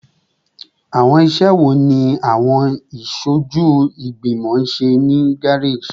Awọn iṣẹ wo ni awọn aṣoju igbimọ ṣe ni gareji?